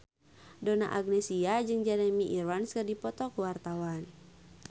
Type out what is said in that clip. Donna Agnesia jeung Jeremy Irons keur dipoto ku wartawan